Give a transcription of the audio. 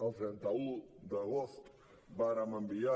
el trenta un d’agost vàrem enviar